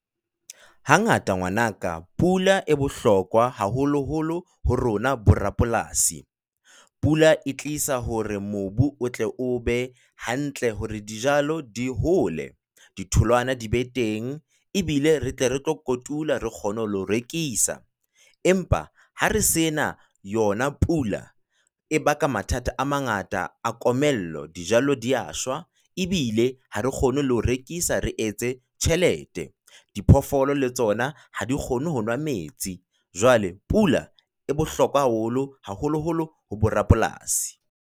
Hangata ngwanaka pula e bohlokwa haholoholo ho rona borapolasi. Pula e tlisa hore mobu o tle o be hantle hore dijalo di hole di tholwana di be teng ebile re tle re tlo kotula re kgone le ho rekisa, empa ha re sena yona pula e ba ka mathata a mangata a komello, dijalo di a shwa ebile ha re kgone le ho rekisa, re etse tjhelete. Diphoofolo le tsona ha di kgone ho nwa metsi. Jwale pula e bohlokwa haholo haholoholo ho borapolasi.